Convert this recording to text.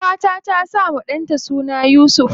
Ƙanwata ta sawa ɗanta suna Yusuf.